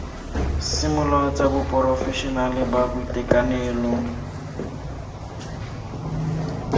semolao tsa baporofešenale ba boitekanelo